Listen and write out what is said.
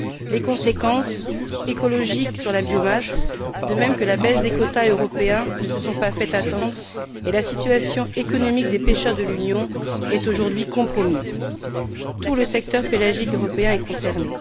Les conséquences écologiques sur la biomasse, de même que la baisse des quotas européens, ne se sont pas fait attendre et la situation économique des pêcheurs de l'Union est aujourd'hui compromise. Tout le secteur pélagique européen est concerné.